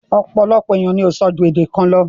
Ọ̀pọ̀lọpọ̀ ènìyàn ni o ń sọ ju èdè kan lọ.